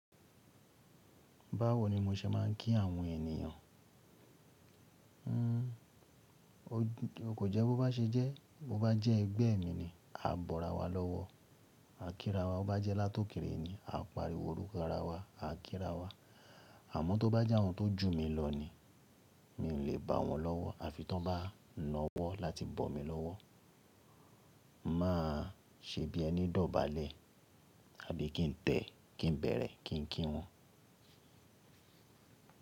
Báwo ni mo ṣe máa ń kí àwọn ènìyàn? Kò jẹ́ bó bá ṣe jẹ́, bó bá jẹ́ ẹgbẹ́ mi ni, a bọ́ra wa lọ́wọ́, a kíra wa. Bó bá jẹ́ látòkèèrè ni, a pariwo orúkọ ara wa, a kíra wa. Àmọ́ tó bá jẹ́ àwọn tó jù mi lọ ni, mi ò lè bọ wọ́n lọ́wọ́ àfi tí wọ́n bá na ọ́wọ́ láti bọ̀ mí lọ́wọ́. Máa ṣe bí ẹni dọ̀bálẹ̀, àbí kí n tẹ̀, kí n bẹ̀rẹ̀, kí n kí wọn?